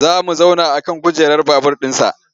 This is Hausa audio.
Za mu zauna a kan kujerar babur ɗinsa.